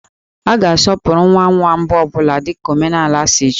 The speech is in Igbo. A ga-asọpụrụ nwa nwa mbụ ọ bụla dika omenaala si chọọ